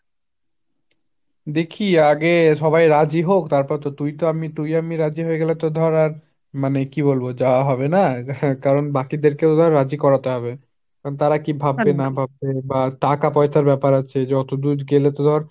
দেখি আগে সবাই রাজী হোক তারপর তো, তুই তো আমি, তুই আমি রাজী হয়ে গেলে তো ধর আর মানে কি বলব যাওয়া হবে না, কারন বাকি দের কেও রাজী করাতে হবে। কারন তারা কী ভাববে না ভাববে বা টাকা পয়সার ব্যাপার আছে যে অতদূর গেলে তো ধর